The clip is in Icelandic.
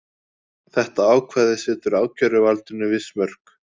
Þetta ákvæði setur ákæruvaldinu viss mörk